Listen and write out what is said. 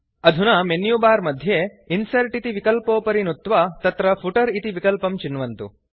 अधुना मेन्युबार मध्ये इन्सर्ट् इति विकल्पोपरि नुत्वा तत्र फुटर इति विकल्पं चिन्वन्तु